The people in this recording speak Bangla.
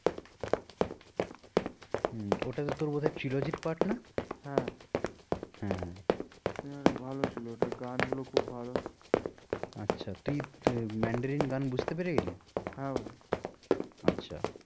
হম ওটা তো তোর বোধয় পাঠ না? হ্যাঁ হ্যাঁ cinema টা ভালো ছিল ওটার গান গুলো খুব ভালো আচ্ছা তুই mandarin গান বুঝতে পেরে গেলি? হ্যাঁ ভাই আচ্ছা